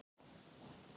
Árekstur í Árbæ